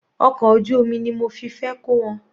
Ọkọ̀ ojú omi ni mo fi fẹ́ kó wọn.